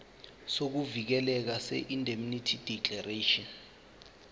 sokuvikeleka seindemnity declaration